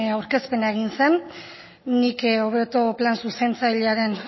aurkezpena egin zen nik hobeto plan zuzentzailearen